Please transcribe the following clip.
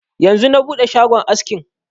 Yanzu na buɗe shagon askin